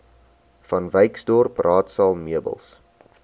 vanwyksdorp raadsaal meubels